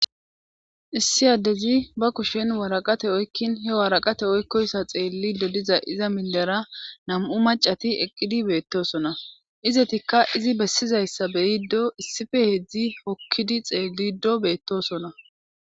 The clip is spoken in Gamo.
issi addezi ba kushen waraqate oykkin he waraqate oykkoyssa xeelli dodiza iza minlera nam7u macati eqqidi beettosona izetikka izi bessizayssa beyiddo issife heedzdzi hokkidi xeellido beettosona